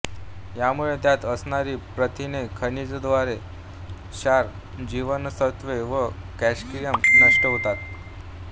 यामुळे त्यात असणारी प्रथिने खनिजद्रव्ये क्षार जीवनसत्त्वे व कॅल्शियम नष्ट होतात